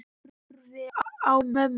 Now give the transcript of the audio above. Ég horfi á mömmu.